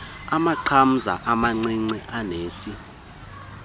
amaqamza amancinci anesi